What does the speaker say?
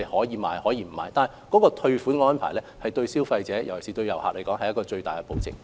然而，退款及退貨的安排對於消費者，尤其是對旅客來說，是最大的保證。